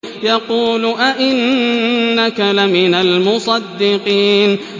يَقُولُ أَإِنَّكَ لَمِنَ الْمُصَدِّقِينَ